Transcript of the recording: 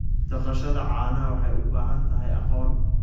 Dhaqashada caanaha waxay u baahan tahay aqoon.